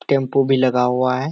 Tempo भी लगा हुआ है।